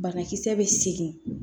Banakisɛ bɛ segin